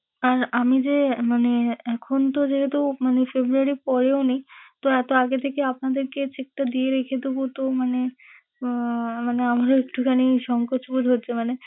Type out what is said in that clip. আর আমি যে মানে এখন তো যেহেতু মানে february পরেওনি, তো এতো আগে থেকে আপনাদেরকে cheque টা দিয়ে রেখে দেবো তো মানে আহ মানে আমার একটুখানি সংকোচবোধ হচ্ছে। মানে,